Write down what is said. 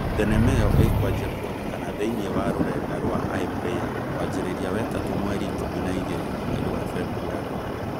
Thenema ĩyo ĩkwanjia kwoneka thĩinĩ wa rũrenda rwa iPlayer kwanjĩrĩria wetatũ mweri ikũmi na igĩrĩ mweri wa Februarĩ